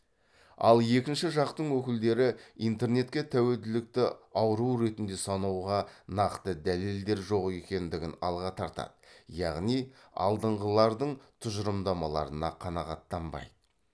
ал екінші жақтың өкілдері интернетке тәуелділікті ауру ретінде санауға нақты дәлелдер жоқ екендігін алға тартады яғни алдыңғылардың тұжырымдамаларына қанағаттанбайды